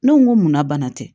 Ne ko n ko munna bana tɛ